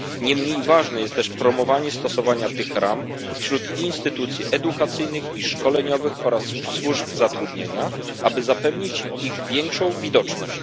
Nie mniej ważne jest też promowanie stosowania tych ram wśród instytucji edukacyjnych i szkoleniowych oraz służb zatrudnienia, aby zapewnić ich większą widoczność.